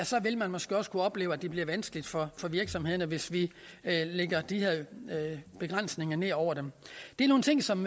så vil man måske også kunne opleve at det bliver vanskeligt for virksomhederne hvis vi lægger de her begrænsninger ned over dem det er nogle ting som